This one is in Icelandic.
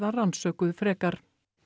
rannsökuð frekar